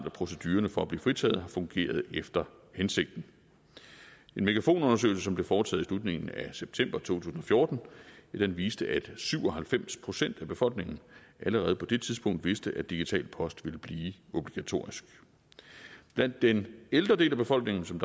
at procedurerne for at blive fritaget har fungeret efter hensigten en megafon undersøgelse som blev foretaget i slutningen af september to tusind og fjorten viste at syv og halvfems procent af befolkningen allerede på det tidspunkt vidste at digital post ville blive obligatorisk blandt den ældre del af befolkningen som